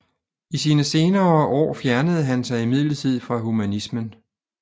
I sine senere år fjernede han sig imidlertid fra humanismen